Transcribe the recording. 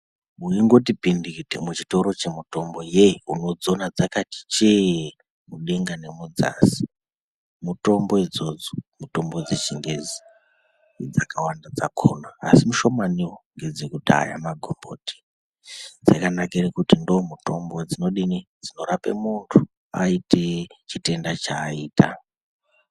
Uyingoti pindikiti muchitoro chemitomboye unotsowona yakati cheee mudenga nemudzasi, mutombo idzodzo mutombo dzechingezi dzakawanda dzakona, asi mishomaniwo ngedzekudhaya magomboti dzakanakire kuti ndomutombo dzinodini?,dzinorape muntu aite chitenda chaita .